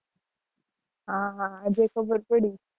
હા હા